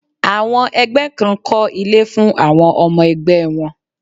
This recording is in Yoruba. Àwọn ẹgbẹ́ kan kọ́ ilé fún àwọn ọmọ ẹgbẹ́ wọn.